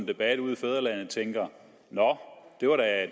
debatten ude i fædrelandet tænker nå det var da